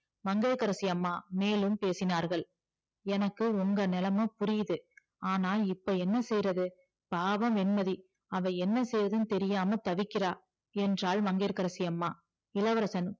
மங்கையகரசி அம்மா மேலும் பேசினார்கள் எனக்கு உங்க நிலம புரிது ஆனா இப்ப என்ன செய்யறது பாவம் வெண்மதி அவ என்ன செய்யறதுன்னு தெரியாம தவிக்கிற என்றால் மங்கையகரசி அம்மா இளவரசன்